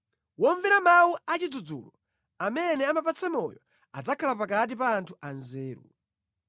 Womvera mawu a chidzudzulo amene apatsa moyo adzakhala pakati pa anthu anzeru.